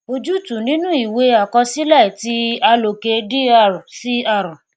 ojútùú nínú ìwée àkọsílẹ ti aloke dr cr